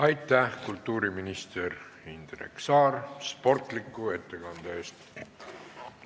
Aitäh, kultuuriminister Indrek Saar, sportliku ettekande eest!